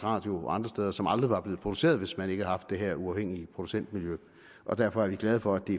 radio og andre steder som aldrig var blevet produceret hvis man ikke havde haft det her uafhængige producentmiljø derfor er vi glade for at det